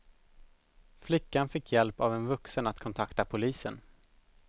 Flickan fick hjälp av en vuxen att kontakta polisen.